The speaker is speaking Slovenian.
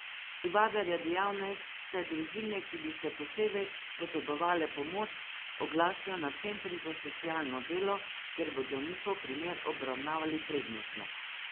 Tivadar je dejal, naj se družine, ki bi še posebej potrebovale pomoč, oglasijo na centrih za socialno delo, kjer bodo njihov primer obravnavali prednostno.